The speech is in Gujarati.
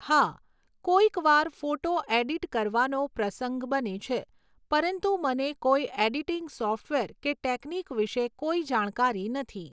હા, કોઈકવાર ફોટો એડિટ કરવાનો પ્રસંગ બને છે, પરંતુ મને કોઈ ઍડિટિંગ સૉફ્ટવેર કે ટૅક્નિક વિશે કોઈ જાણકારી નથી